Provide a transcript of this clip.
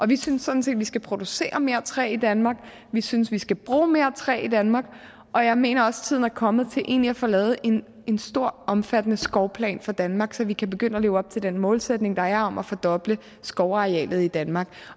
vi synes sådan set at vi skal producere mere træ i danmark vi synes vi skal bruge mere træ danmark og jeg mener også tiden er kommet til egentlig at få lavet en en stor omfattende skovplan for danmark så vi kan begynde at leve op til den målsætning der er om at fordoble skovarealet i danmark